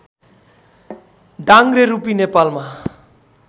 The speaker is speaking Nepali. डाङ्ग्रे रूपी नेपालमा